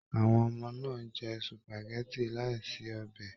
Àwọn ọmọ náà jẹ supágẹ̀tì láì sí ọbẹ.